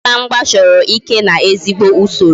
Igba mgba chọrọ ike na ezigbo usoro